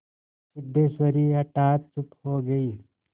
सिद्धेश्वरी हठात चुप हो गई